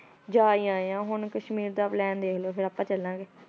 ਜਾ ਹੀ ਆਏ ਹਾਂ ਹੁਣ ਕਸ਼ਮੀਰ ਦਾ plan ਦੇਖ ਲਓ ਫਿਰ ਆਪਾਂ ਚੱਲਾਂਗੇ।